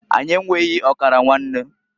Anyi enweghi ọkara nwanne.